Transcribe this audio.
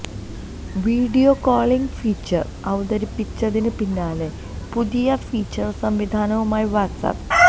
video calling feature അവതരിപ്പിച്ചതിന് പിന്നാലെ പുതിയ ഫീച്ചര് സംവിധാനവുമായി വാട്സ് ആപ്പ്